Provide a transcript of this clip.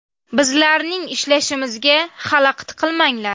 Bizlarning ishlashimizga xalaqit qilmanglar.